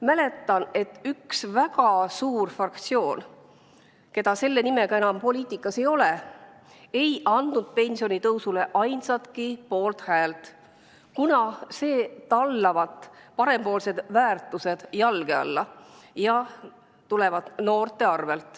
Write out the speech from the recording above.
Mäletan, et üks väga suur fraktsioon, keda praegu enam selle nimega poliitikas ei ole, ei andnud pensionitõusule ainsatki poolthäält, kuna see tallavat parempoolsed väärtused jalge alla ja tulevat noorte arvel.